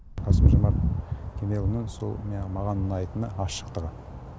қасым жомарт кемелұлының маған ұнайтыны ашықтығы